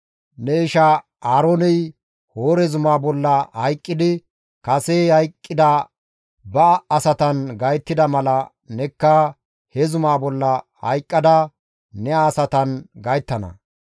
Ne isha Aarooney Hoore zumaa bolla hayqqidi kase hayqqida ba asatan gayttida mala nekka he zumaa bolla hayqqada ne asatan gayttana.